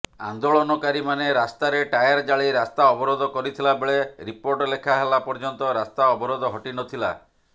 ଆନ୍ଦୋଳନକାରୀମାନେ ରାସ୍ତାରେ ଟାୟାର ଜାଳି ରାସ୍ତା ଅବରୋଧ କରିଥିଲାବେଳେ ରିପୋର୍ଟ ଲେଖାହେଲା ପର୍ଯ୍ୟନ୍ତ ରାସ୍ତା ଅବରୋଧ ହଟି ନଥିଲା